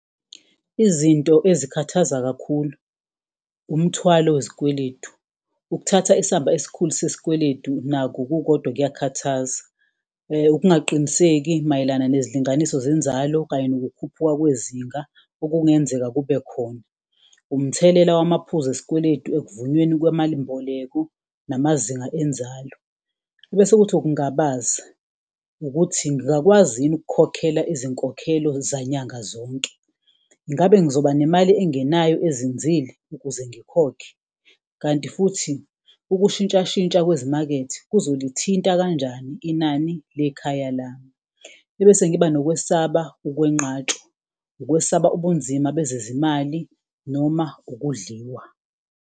Izinto ezikhathaza kakhulu umthwalo wezikweletu, ukuthatha isamba esikhulu sesikweletu nakho kukodwa kuyakhathaza, ukungaqiniseki mayelana nezilinganiso zenzalo kanye nokukhuphuka kwezinga okungenzeka kube khona. Umthelela wamaphuzu esikweletu ekuvunyweni kwemalimboleko namazinga enzalo, ebese kuthi ukungabaza ukuthi, ngingakwazi yini ukukhokhela izinkokhelo nyanga zonke, ingabe ngizoba nemali engenayo ezinzile ukuze ngikhokhe? Kanti futhi ukushintshashintsha kwezimakethe kuzolithinta kanjani inani lekhaya lami? Ebese ngiba nokwesaba ukwenqatshwa, ukwesaba ubunzima bezezimali noma ukudliwa.